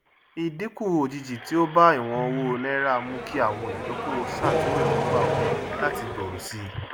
ìdínkù òjijì tí ó bá ìwọn owó naira mú kí àwọn olùdókòwò ṣàtúnrò èróngbà wọn láti gbòòrò sí i